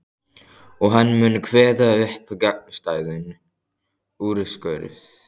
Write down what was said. Og hann mun kveða upp gagnstæðan úrskurð.